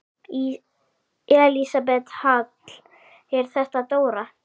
Elísabet Hall: Er þetta dóra?